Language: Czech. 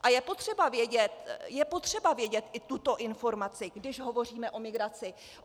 A je potřeba vědět i tuto informaci, když hovoříme o migraci.